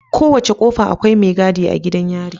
Kowace kofa Akai me gadi a yari